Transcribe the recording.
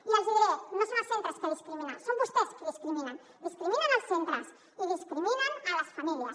i els diré no són els centres que discriminen són vostès qui discriminen discriminen els centres i discriminen les famílies